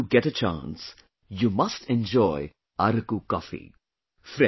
Whenever you get a chance, you must enjoy Araku coffee